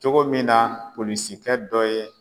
Cogo min na polisikɛ dɔ ye